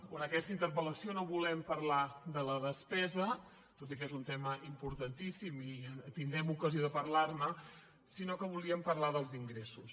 o en aquesta interpel·no volem parlar de la despesa tot i que és un tema importantíssim i que tindrem ocasió de parlar ne sinó que volíem parlar dels ingressos